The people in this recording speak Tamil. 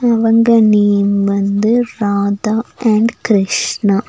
அவங்க நேம் வந்து ராதா அண்ட் கிருஷ்ணா.